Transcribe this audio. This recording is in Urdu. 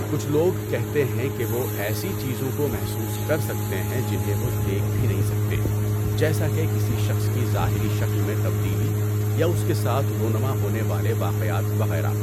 کچھ لوگ کہتے ہیں کہ وہ ایسی چیزوں کو محسوس کر سکتے ہیں جنہیں وہ دیکھ بهی نہیں سکتے جیسا کہ کسی شخص کی ظاہری شکل میں تبدیلی یا اس کے ساتھ رونما ہونے والے واقعات وغیرہ۔